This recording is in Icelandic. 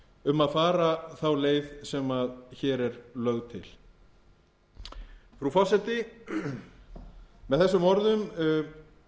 um að fara þá leið sem hér er lögð til frú forseti með þessum orðum lýk ég